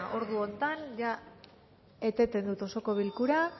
ordu honetan jada eteten dut osoko bilkura